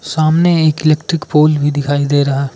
सामने एक electric pole भी दिखाई दे रहा--